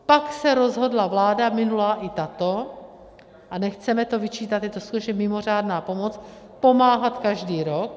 Pak se rozhodla vláda minulá i tato - a nechceme to vyčítat, je to skutečně mimořádná pomoc - pomáhat každý rok.